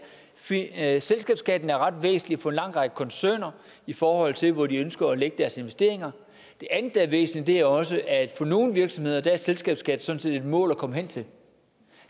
at selskabsskatten er ret væsentlig for en lang række koncerner i forhold til hvor de ønsker at lægge deres investeringer det andet der er væsentligt er også at for nogle virksomheder er selskabsskat sådan set et mål at komme hen til